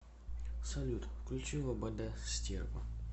салют включи лобода стерва